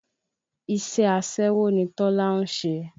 Iṣẹ́ aṣẹ́wó ni Tọ́lá ń ṣe